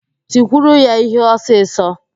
Tikwuru ya íhé ọsịsọ!